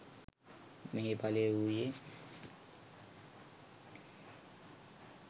මෙහි ඵලය වූයේ